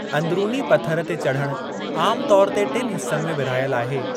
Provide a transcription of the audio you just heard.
अंदिरूनी पथरु ते चढ़णु आम तौरु ते टिनि हिस्सनि में विर्हायल आहे।